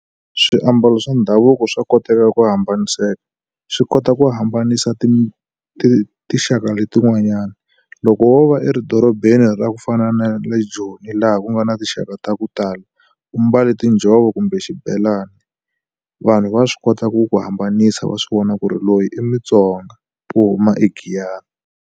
Swiambalo swa ndhavuko swa koteka ku hambaniseka. Swi kota ku hambanisa tinxaka letin'wanyani, loko wo va edorobeni ra ku fana na le Joni laha ku nga na tinxaka ta ku tala, u mbale tinjhovo kumbe xibelani, vanhu va swi kota ku ku hambanisa va swi vona ku ri loyi i muTsonga wo huma eGiyani.